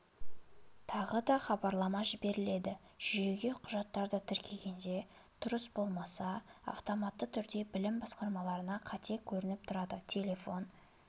тағы да хабарлама жіберіледі жүйеге құжаттарды тіркегенде дұрыс болмаса автоматты түрде білім басқармаларына қате көрініптұрады телефон